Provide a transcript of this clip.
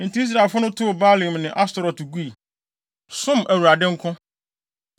Enti Israelfo no too Baalim ne Astoret gui, som Awurade nko.